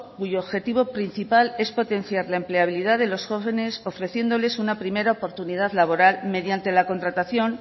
cuyo objetivo principal es potenciar la empleabilidad de los jóvenes ofreciéndoles una primera oportunidad laboral mediante la contratación